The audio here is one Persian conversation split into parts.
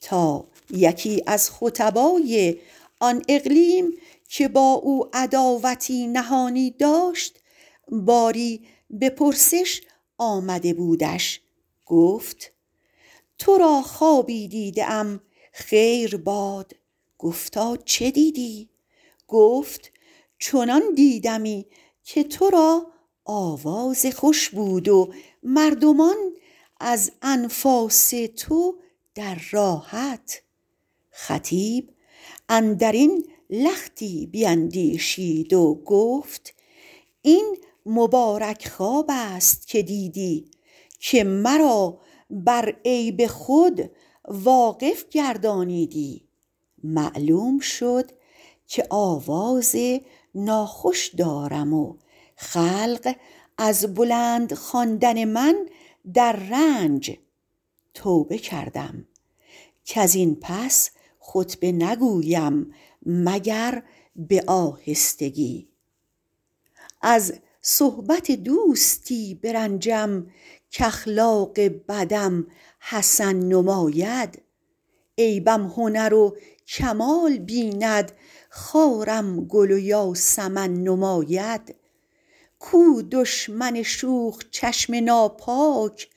تا یکی از خطبای آن اقلیم که با او عداوتی نهانی داشت باری به پرسش آمده بودش گفت تو را خوابی دیده ام خیر باد گفتا چه دیدی گفت چنان دیدمی که تو را آواز خوش بود و مردمان از انفاس تو در راحت خطیب اندر این لختی بیندیشید و گفت این مبارک خواب است که دیدی که مرا بر عیب خود واقف گردانیدی معلوم شد که آواز ناخوش دارم و خلق از بلند خواندن من در رنج توبه کردم کز این پس خطبه نگویم مگر به آهستگی از صحبت دوستی برنجم کاخلاق بدم حسن نماید عیبم هنر و کمال بیند خارم گل و یاسمن نماید کو دشمن شوخ چشم ناپاک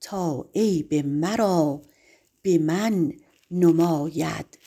تا عیب مرا به من نماید